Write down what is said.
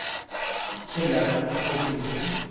Kjellaug Torkildsen